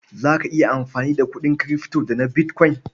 Za ka iya amfani da kuɗin kirifto da na bitkwain?